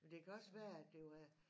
Men det kan også være at det var